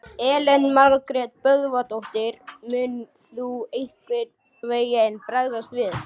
Elín Margrét Böðvarsdóttir: Mun þú einhvern veginn bregðast við?